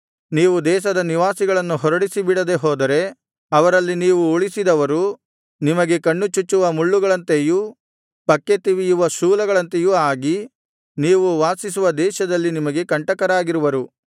ನೀವು ದೇಶದ ನಿವಾಸಿಗಳನ್ನು ಹೊರಡಿಸಿಬಿಡದೆ ಹೋದರೆ ಅವರಲ್ಲಿ ನೀವು ಉಳಿಸಿದವರು ನಿಮಗೆ ಕಣ್ಣುಚುಚ್ಚುವ ಮುಳ್ಳುಗಳಂತೆಯೂ ಪಕ್ಕೆತಿವಿಯುವ ಶೂಲಗಳಂತೆಯೂ ಆಗಿ ನೀವು ವಾಸಿಸುವ ದೇಶದಲ್ಲಿ ನಿಮಗೆ ಕಂಟಕರಾಗಿರುವರು